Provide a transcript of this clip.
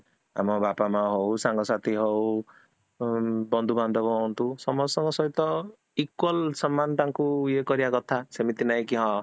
ଆମ ବାପା ମାଁ ହଉ, ସାଙ୍ଗ ସାଥି ହଉ, ବନ୍ଧୁ ବଢାଵ ହୁଅନ୍ତୁ, ସମସ୍ତଙ୍କ ସହିତ equal ସମାନ ତାଙ୍କୁ ୟେ କରିବା କଥା ସେମିତି ନାହିଁ କି ହଁ